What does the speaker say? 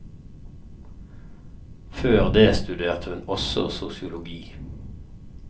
Før det studerte hun også sosiologi.